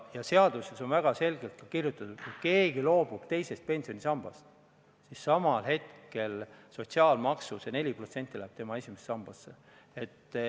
Ja seaduses on väga selgelt kirjutatud, et kui keegi loobub teisest pensionisambast, siis samal hetkel see sotsiaalmaksu 4% läheb tema esimesse sambasse.